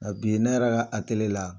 NKa bi ne Yɛrɛ k'a ateliye la